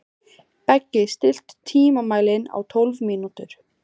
Beggi, stilltu tímamælinn á tólf mínútur.